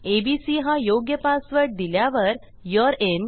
ABC हा योग्य password दिल्यावर यूरे इन